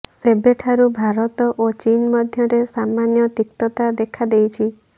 ସେବେଠାରୁ ଭାରତ ଓ ଚୀନ ମଧ୍ୟରେ ସାମାନ୍ୟ ତିକ୍ତତା ଦେଖା ଦେଇଛି